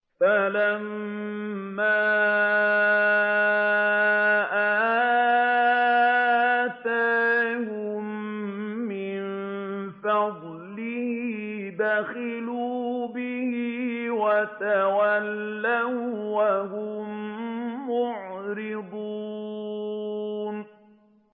فَلَمَّا آتَاهُم مِّن فَضْلِهِ بَخِلُوا بِهِ وَتَوَلَّوا وَّهُم مُّعْرِضُونَ